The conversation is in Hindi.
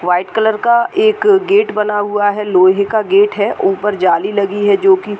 व्हाइट कलर का एक गेट बना हुआ है। लोहे का गेट है। ऊपर जाली लगी है जो कि --